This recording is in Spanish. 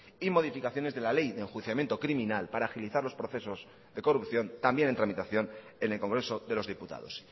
y modificaciones de la ley de enjuiciamiento criminal para agilizar los procesos de corrupción también en tramitación en el congreso de los diputados